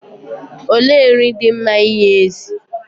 Olee nri dị mma inye ezi?